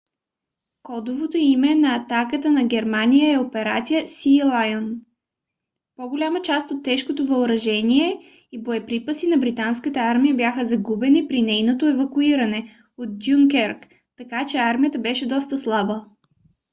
кодовото име на атаката на германия е операция сиилайън . по-голяма част от тежкото въоръжение и боеприпаси на британската армия бяха загубени при нейното евакуиране от дюнкерк така че армията беше доста слаба